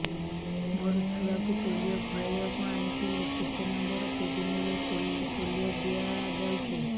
ମୋର ଛୁଆକୁ ପୋଲିଓ ଖୁଆଇବାକୁ ଆଣିଥିଲି କେତେ ନମ୍ବର କେବିନ ରେ ପୋଲିଓ ଦିଆଯାଉଛି